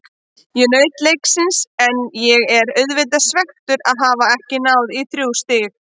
Ég naut leiksins en ég er auðvitað svekktur að hafa ekki náð í þrjú stig.